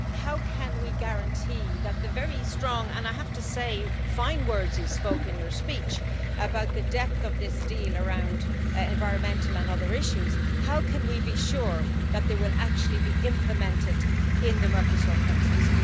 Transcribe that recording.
How can we guarantee that the very strong and, I have to say, fine words you spoke in your speech about the depth of this deal around environmental and other issues how can we be sure that they will actually be implemented in the Mercosur countries?